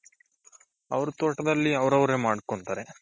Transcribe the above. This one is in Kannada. ಅವ್ರ್ ತೋಟದಲ್ಲಿ ಅವ್ರವ್ರೆ ಮಾಡ್ಕೊಂತಾರೆ.